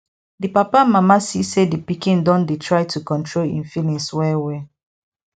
d papa and mama see say di pikin don dey dey try control im feelings well well